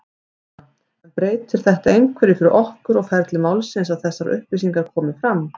Þóra: En breytir þetta einhverju fyrir ykkur og ferli málsins að þessar upplýsingar komi fram?